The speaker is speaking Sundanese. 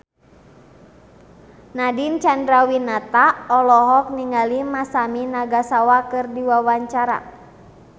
Nadine Chandrawinata olohok ningali Masami Nagasawa keur diwawancara